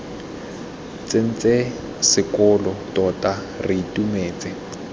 tsentse sekolo tota re itumetse